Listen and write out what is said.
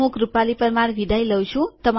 હું ભરત સોલંકી વિદાઈ લઉં છું